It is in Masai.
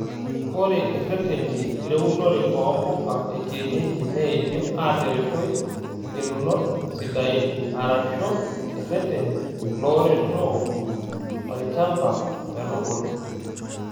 Ore ireteni leunore oo mpuka ekienyeji neidim ataretooi ingelunot sidain arashu ireteni looreto olchamba metubulu.